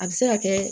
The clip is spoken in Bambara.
A bɛ se ka kɛ